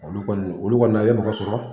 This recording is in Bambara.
Olu kɔni olu kɔni na i bɛ mɔgɔ sɔrɔ.